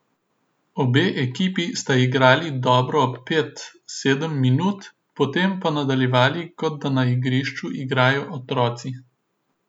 Obe ekipi sta igrali dobro pet, sedem minut, potem pa nadaljevali kot da na igrišču igrajo otroci.